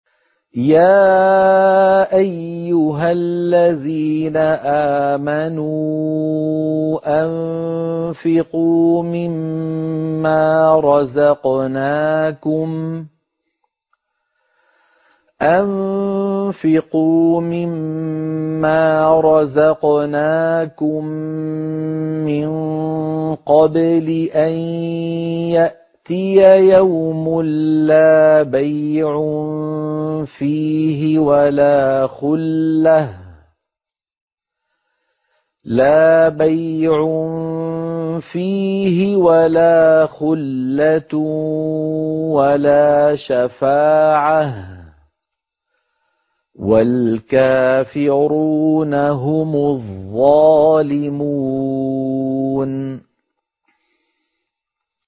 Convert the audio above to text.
يَا أَيُّهَا الَّذِينَ آمَنُوا أَنفِقُوا مِمَّا رَزَقْنَاكُم مِّن قَبْلِ أَن يَأْتِيَ يَوْمٌ لَّا بَيْعٌ فِيهِ وَلَا خُلَّةٌ وَلَا شَفَاعَةٌ ۗ وَالْكَافِرُونَ هُمُ الظَّالِمُونَ